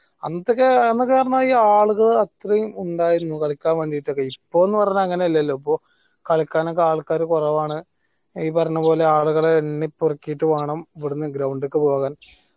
അന്നത്തോക്കെ അന്നയോക്കെ ഈ ആളുകൾ അത്രെയും ഉണ്ടായിരുന്നു കളിക്കാൻ വേണ്ടീട്ടൊക്കെ ഇപ്പോന്ന പറഞ്ഞാൽ അങ്ങനെയൊന്ന്വല്ലല്ലോ ഇപ്പൊ കളിക്കാനൊക്കെ ആൾക്കാർ കുറവാണ് ഈ പറഞ്ഞ പോലെ ആളുകളെ എണ്ണി പറുക്കീറ്റ് വേണം ഇവിടന്ന് ground ക്ക് പോവാൻ